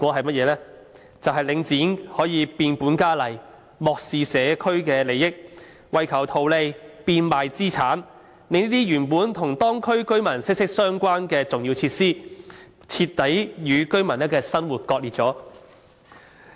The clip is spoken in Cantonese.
便是領展可以變本加厲，漠視社區的利益，為求圖利變賣資產，令這些本來與當區居民生活息息相關的重要設施，徹底與居民的生活割裂。